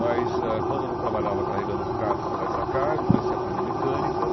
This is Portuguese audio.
Mas, eh quando eu não trabalhava carregando cartas para lá e para cá, eu comecei a aprender mecânica.